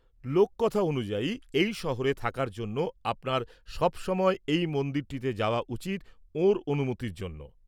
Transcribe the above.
লোককথা অনুযায়ী, এই শহরে থাকার জন্য আপনার সবসময় এই মন্দিরটিতে যাওয়া উচিৎ ওঁর অনুমতির জন্য ।